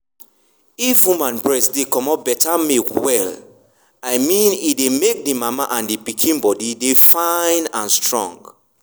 if woman breast dey comot better milk well i mean e dey make the mama and pikin body dey fine and strong.